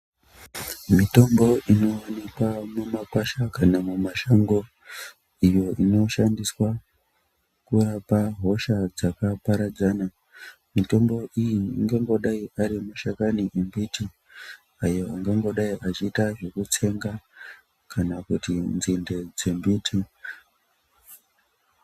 Mitombo inoonekwa mumakwasha kana mumashango iyo inoshandiswa kurapa hosha dzakaparadzana. Mitombo iyi ingangodai arimashakani embiti ayo anombodai achiita zvekutsenga kana kuti nzinde dzembiti.